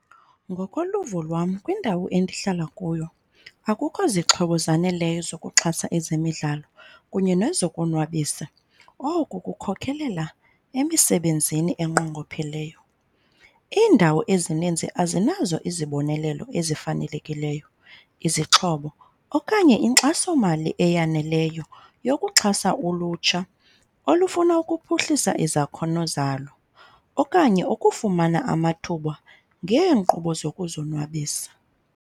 Ngokoluvo lwam kwindawo endihlala kuyo akukho zixhobo zaneleyo zokuxhasa ezemidlalo kunye nezokonwabisa. Oko, kukhokhelela emisebenzini enqongopheleyo. Iindawo ezininzi azinazo izibonelelo ezifanelekileyo, izixhobo, okanye inkxasomali eyaneleyo yokuxhasa ulutsha olufuna ukuphuhlisa izakhono zalo okanye ukufumana amathuba ngeenkqubo zokuzonwabisa.